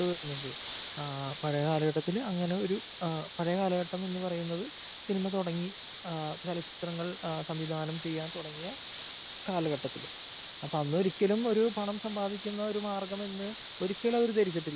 കണ്ടുവരുന്നത്. പഴയ കാലഘട്ടത്തില് അങ്ങനെ ഒരു പഴയ കാലഘട്ടം എന്ന് പറയുന്നത് സിനിമ തുടങ്ങി ചലച്ചിത്രങ്ങൾ സംവിധാനം ചെയ്യാൻ തുടങ്ങിയ കാലഘട്ടത്തില് പക്ഷേ അന്നൊരിക്കലും ഒരു പണം സമ്പാദിക്കുന്ന ഒരു മാർഗം എന്ന് ഒരിക്കലും അവര് ധരിച്ചിട്ടില്ല.